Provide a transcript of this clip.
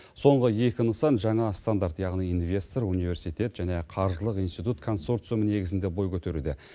соңғы екі нысан жаңа стандарт яғни инвестор университет және қаржылық институт консорциумы негізінде бой көтеруде